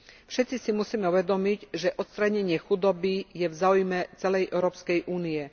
Všetci si musíme uvedomiť, že odstránenie chudoby je v záujme celej Európskej únie.